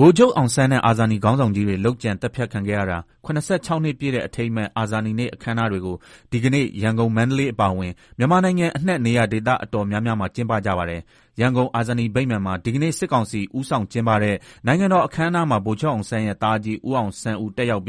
ဗိုလ်ချုပ်အောင်ဆန်းနဲ့ အာဇာနည်ခေါင်းဆောင်ကြီးတွေ လုပ်ကြံသတ်ဖြတ်ခံခဲ့ရတာ ၇၆ နှစ်ပြည့်တဲ့ အထိမ်းအမှတ် အာဇာနည်နေ့ အခမ်းအနားတွေကို ဒီကနေ့ ရန်ကုန်၊ မန္တလေး အပါအဝင် မြန်မာနိုင်ငံအနှံ့ နေရာဒေသ အတော်များများမှာ ကျင်းပကြပါတယ်။ ရန်ကုန် အာဇာနည်ဗိမာန်မှာ ဒီကနေ့ စစ်ကောင်စီ ဦးဆောင် ကျင်းပတဲ့ နိုင်ငံတော်အခမ်းအနားမှာ ဗိုလ်ချုပ်အောင်ဆန်းရဲ့ သားအကြီး ဦးအောင်ဆန်းဦး တက်ရောက်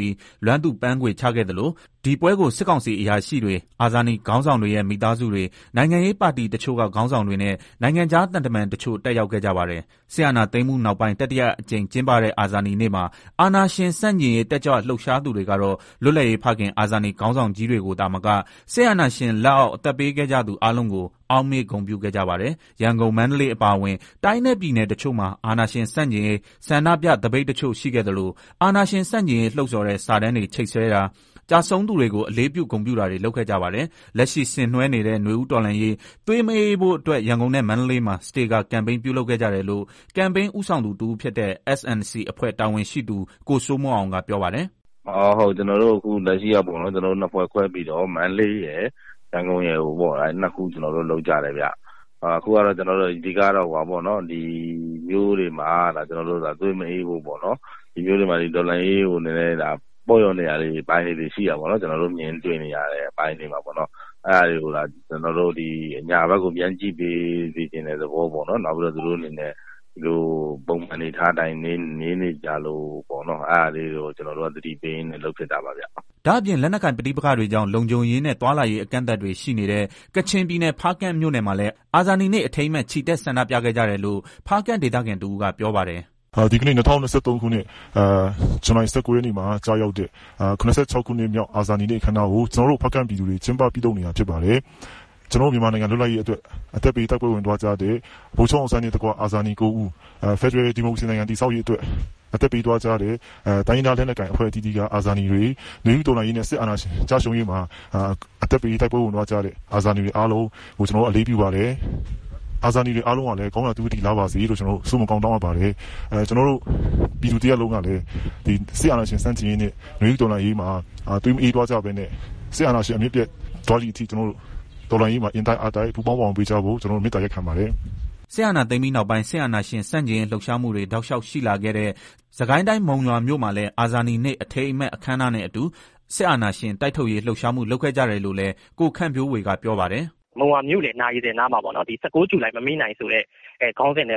လွမ်းသူပန်းခွေချခဲ့သလို၊ ဒီပွဲကို စစ်ကောင်စီ အရာရှိတွေ၊ အာဇာနည် ခေါင်းဆောင်တွေရဲ့ မိသားစုတွေ၊ နိုင်ငံရေးပါတီတချို့က ခေါင်းဆောင်တွေနဲ့ နိုင်ငံခြား သံတမန် တချို့ တက်ရောက်ခဲ့ကြပါတယ်။ စစ်အာဏာသိမ်းမှုနောက်ပိုင်း တတိယအကြိမ်ကျင်းပတဲ့ အာဇာနည်နေ့မှာ အာဏာရှင် ဆန့်ကျင်ရေး တက်ကြွလှုပ်ရှားသူတွေကတော့ လွတ်လပ်ရေးဖခင် အာဇာနည် ခေါင်းဆောင်ကြီးတွေကိုသာမက စစ်အာဏာရှင်လက်အောက် အသက်ပေးခဲ့ကြသူ အားလုံးကို အောက်မေ့ ဂုဏ်ပြုခဲ့ကြပါတယ်။ ရန်ကုန်၊ မန္တလေး အပါအဝင် တိုင်းနဲ့ ပြည်နယ် တချို့မှာ အာဏာရှင်ဆန့်ကျင်ရေး ဆန္ဒပြ သပိတ်တချို့ ရှိခဲ့သလို၊ အာဏာရှင်ဆန့်ကျင်ရေး လှုံ့ဆော်တဲ့ စာတမ်းတွေ ချိတ်ဆွဲတာ၊ ကျဆုံးသူတွေကို အလေးပြု ဂုဏ်ပြုတာတွေ လုပ်ခဲ့ကြပါတယ်။ လက်ရှိဆင်နွှဲနေတဲ့ နွေဦးတော်လှန်းရေး သွေးမအေးဖို့အတွက် ရန်ကုန်နဲ့ မန္တလေးမှာ စတေကာ ကမ်ပိန်း ပြုလုပ်ခဲ့ကြတယ်လို့ ကမ်ပိန်း ဦးဆောင်သူ တဦးဖြစ်တဲ့ S&C အဖွဲ့ တာဝန်ခံ ကိုစိုးမိုးအောင်က ပြောပါတယ်။ “လက်ရှိကျနော်တို့ နှစ်ဖွဲ့ခွဲပြီးတော့ မန္တလေးရယ် ရန်ကုန်ရယ် နှစ်ခုလုပ်ကြတယ်ဗျာ၊ အဓိကတော့ ကျနော်တို့ ဒီမြို့တွေမှာ သွေးမအေးဖို့ ပေါ့နော် တော်လှန်ရေးမှာလည်း ပေါ့လျော့နေတဲ့ အပိုင်းလေးတွေ ရှိတာပေါ့နော် ကျနော်တို့ မြင်တွေ့နေရတယ်၊ အဲတာကျနော်တို့ အညာဖက်ကို ပြန်ကြည့်ပေးစေချင်တဲ့သဘောပေါ့နော် နောက်ပြီးတော့ ကျနော်တိုအနေနဲ့ ဒီအတိုင်းနေနေကြလို့ အဲတာကို သတိပေးရင်းနဲ့ လုပ်ဖြစ်တာပါဗျာ။” ဒါ့အပြင် လက်နက်ကိုင်ပဋိပက္ခတွေကြောင့် လုံခြုံရေးနဲ့ သွားလာရေး အကန့်အသတ်တွေ ရှိနေတဲ့ ကချင်ပြည်နယ်ဖားကန့်မြို့နယ်မှာလည်း အာဇာနည်နေ့ အထိမ်းအမှတ် ချီတက် ဆန္ဒပြခဲ့ကြတယ်လို့ ဖားကန့်ဒေသခံတဦးက ပြောပါတယ်။ “ ဒီကနေ့ ၂၀၂၃ ခုနှစ် ဇူလိုင် ၁၉ရက်နေ့မှာ ကျရောက်တဲ့ ၇၆ နှစ်မြောက် အာဇာနည်နေ့ အခမ်းအနားကို ကျနော်တို့ ဖားကန့်ပြည်သူတွေ ကျင်းပပြုလုပ်နေတာ ဖြစ်ပါတယ်။ ကျနော်တို့ မြန်မာနိုင်ငံ လွတ်လပ်ရေးအတွက် အသက်ပေးတိုက်ပွဲ ဝင်သွားကြတဲ့ ဗိုလ်ချုပ်အောင်းဆန်းနဲ့ အာဇာနည် ၉ဦးဖယ်ဒရယ် ဒီမိုကရေစီတည်ဆောက်ရေး အတွက်အသက်ပေးသွားကြတဲ့ တိုင်းရင်းသား လက်နက်ကိုင်အသီးသီးက အာဇာနည်တွေ နွေဦးတော်လှန်ရေးနဲ့ စစ်အာဏာရှင် ကျရှုံးရေးမှာ အသက်ပေးတိုက်ပွဲ ဝင်သွားကြတဲ့ အာဇာနည်တွေ အားလုံးကို ကျနော်တို့ အလေးပြုပါတယ်။ အာဇာနည်တွေ အားလုံး ကောင်းရာသုကတိလားပါစေ။ ကျနော်တို့ ပြည်သူတရပ်လုံး ကလည်း နွေဦးတော်လှန်ရေးနဲ့ စစ်အာဏာရှင်ဆန့်ကျင်ရေးမှာ သွေးမအေးသွားကြဖို့နဲ့ စစ်အာဏာရှင် အမြစ်ပြတ်သွားတဲ့ အထိတော်လှန်ရေးမှာ အင်တိုက်အားတိုက် ပူပေါင်းပါဝင်ပေးကြဖို့ မေတ္တာရပ်ခံပါတယ်။ ” စစ်အာဏာသိမ်းပြီးနောက်ပိုင်း စစ်အာဏာရှင်ဆန့်ကျင်ရေး လှုပ်ရှားမှုတွေ တောက်လျှောက် ရှိလာခဲ့တဲ့ စစ်ကိုင်းတိုင်း မုံရွာမြို့မှာလည်း အာဇာနည်နေ့ အထိမ်းအမှတ် အခမ်းအနားနဲ့အတူ စစ်အာဏာရှင် တိုက်ထုတ်ရေး လှုပ်ရှားမှု လုပ်ခဲ့ကြတယ်လို့လည်း ကိုခန့်ဝေဖြိုးက ပြောပါတယ်။ “မုံရွာမြို့လည်နာရီ စင်နားမှာ ၁၉ ဂျူလိုင် မမေ့နိုင်ဆိုပြီး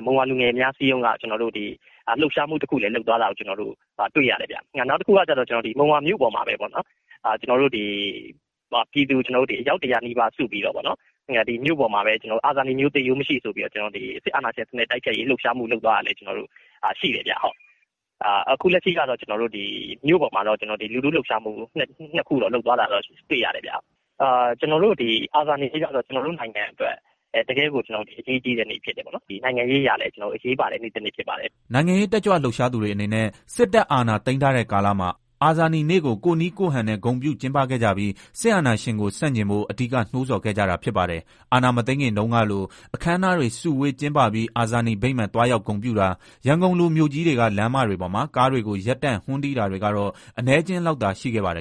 မုံရွာလူငယ်များ အစည်းအရုံးကလှုပ်ရှားမှုတခု လုပ်တာလည်း တွေ့ရတယ်။ နောက်တခုကတော့ မုံရွာမြို့ပေါ်မှာပဲ ပြည်သူအယောက် ၁၀၀နီးပါးစုပြီးတော့ အာဇာနည်မျိုး သေရိုးမရှိ ဆိုပြီး စစ်အာဏာရှင် တိုက်ထုတ်ရေး လှုပ်ရှားမှု လုပ်တာလည်း ရှိတယ်။ ခု လက်ရှိကတော့ မြို့ပေါ် မှာတော့ လူထုလှုပ်ရှားမှု ၂ ခု လုပ်တာတွေ့ရတယ်။ အာဇာနည်နေ့ကတော့ ကျနော်တို့ နိုင်ငံအတွက် တကယ့်ကို အရေးကြီးတဲ့နေ့ ဖြစ်တယ်။ နိုင်ငံရေးအရလည်း အရေးပါတဲ့နေ့တနေ့ဖြစ်ပါတယ်။” နိုင်ငံရေး တက်ကြွလှုပ်ရှားသူတွေ အနေနဲ့ စစ်တပ်အာဏာ သိမ်းထားတဲ့ကာလမှာ အာဇာနည်နေ့ကို ကိုယ့်နည်းကိုယ့်ဟန်နဲ့ ဂုဏ်ပြု ကျင်းပခဲ့ကြပြီး စစ်အာဏာရှင်ကို ဆန့်ကျင်ဖို့ အဓိက နိုးဆော်ခဲ့ကြတာ ဖြစ်ပါတယ်။ အာဏာမသိမ်းခင်တုန်းကလို အခမ်းအနားတွေ စုဝေး ကျင်းပပြီး အာဇာနည်ဗိမာန် သွားရောက် ဂုတ်ပြုတာ၊ ရန်ကုန်လိုမြို့ကြီးတွေက လမ်းမတွေပေါ်မှာ ကားတွေကို ရပ်တန့် ဟွန်းတီးတာတွေ ကတော့ အနည်းအကျဥ်းလောက်သာ ရှိခဲ့ပါတယ်